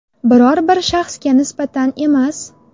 Biror bir shaxsga nisbatan emas.